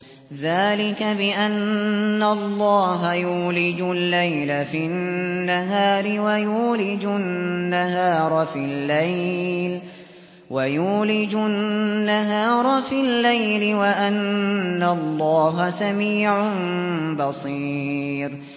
ذَٰلِكَ بِأَنَّ اللَّهَ يُولِجُ اللَّيْلَ فِي النَّهَارِ وَيُولِجُ النَّهَارَ فِي اللَّيْلِ وَأَنَّ اللَّهَ سَمِيعٌ بَصِيرٌ